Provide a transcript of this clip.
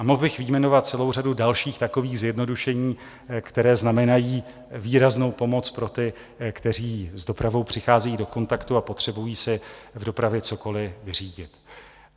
A mohl bych vyjmenovat celou řadu dalších takových zjednodušení, která znamenají výraznou pomoc pro ty, kteří s dopravou přicházejí do kontaktu a potřebují si v dopravě cokoliv vyřídit.